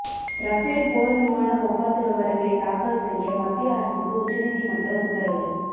Rafale போர் விமானஒப்பந்த விவரங்களை தாக்கல் செய்ய மத்திய அரசுக்கு உச்சநீதிமன்றம் உத்தரவு